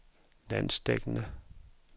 landsdækkende